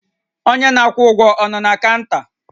Onye na-akwụ ụgwọ a nọ na kaụnta?